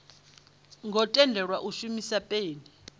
ngo tendelwa u shumisa peni